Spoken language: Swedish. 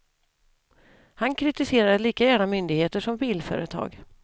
Han kritiserade lika gärna myndigheter som bilföretag.